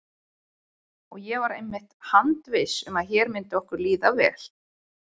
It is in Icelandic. Og ég var einmitt handviss um að hér myndi okkur líða vel.